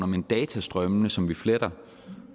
men datastrømmene som vi fletter